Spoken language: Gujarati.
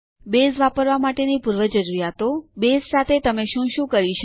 બેઝ વાપરવા માટેની પૂર્વજરૂરીયાતો બેઝ સાથે તમે શું સાથે શું કરી શકો